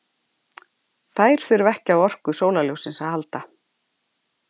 þær þurfa ekki á orku sólarljóssins að halda